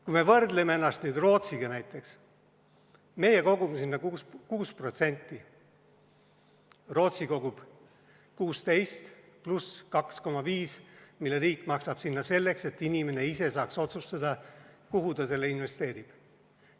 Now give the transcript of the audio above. Kui me võrdleme ennast näiteks Rootsiga, siis meie kogume sinna 6%, Rootsis kogutakse 16% pluss 2,5%, mille riik maksab sinna selleks, et inimene ise saaks otsustada, kuhu ta selle investeerib.